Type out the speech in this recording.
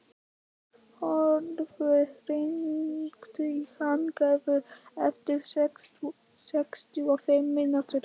Hróðólfur, hringdu í Hildegard eftir sextíu og fimm mínútur.